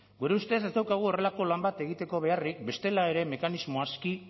gure ustez ez daukagu horrelako lan bat egiteko beharrik bestela ere mekanismo aski